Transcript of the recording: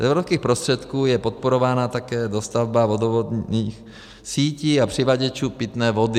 Z evropských prostředků je podporována také dostavba vodovodních sítí a přivaděčů pitné vody.